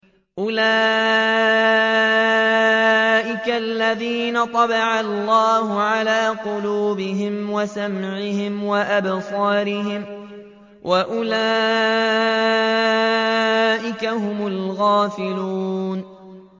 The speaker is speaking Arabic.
أُولَٰئِكَ الَّذِينَ طَبَعَ اللَّهُ عَلَىٰ قُلُوبِهِمْ وَسَمْعِهِمْ وَأَبْصَارِهِمْ ۖ وَأُولَٰئِكَ هُمُ الْغَافِلُونَ